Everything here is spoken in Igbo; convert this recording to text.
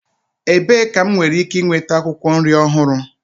Ebee ka m nwere ike nweta akwụkwọ nri ọhụrụ?